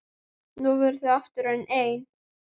Nú voru þau aftur orðin ein.